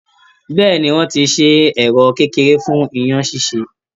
Bẹ́ẹ̀ni, wọ́n ti ṣe ẹ̀rọ kékeré fun iyán ṣíṣe.